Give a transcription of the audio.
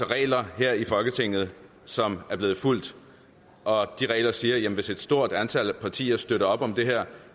regler her i folketinget som er blevet fulgt og de regler siger at hvis et stort antal af partier støtter op om det her